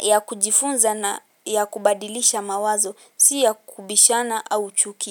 ya kujifunza na ya kubadilisha mawazo si ya kubishana a chuki.